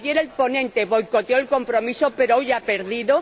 Ayer el ponente boicoteó el compromiso, pero hoy ha perdido.